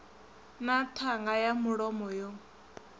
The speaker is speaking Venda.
na ṱhanga ya mulomo yo